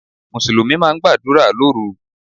Mùsùlùmí máa gbàdúrà lóru.